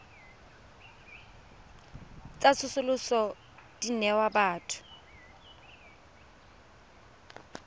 tsa tsosoloso di newa batho